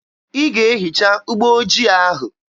Ị ga-ehicha ụgbọ ojii ahụ!